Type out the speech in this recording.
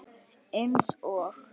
Eins og